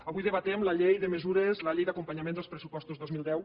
avui debatem la llei de mesures la llei d’acompanyament dels pressupostos dos mil deu